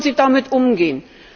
Wie wollen Sie damit umgehen?